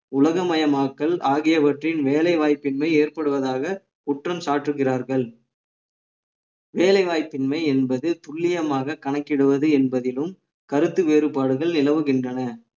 உலகமயமாக்கல் ஆகியவற்றின் வேலை வாய்ப்பின்மை ஏற்படுவதாக குற்றம் சாட்டுகிறார்கள் வேலைவாய்ப்பின்மை என்பது துல்லியமாக கணக்கிடுவது என்பதிலும் கருத்து வேறுபாடுகள் நிலவுகின்றன